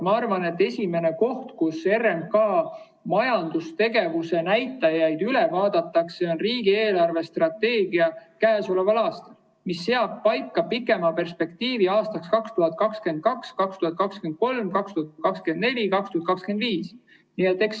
Ma arvan, et esimene koht, kus RMK majandustegevuse näitajad üle vaadatakse, on käesoleva aasta riigi eelarvestrateegia, mis seab paika pikema perspektiivi aastaiks 2022, 2023, 2024, 2025.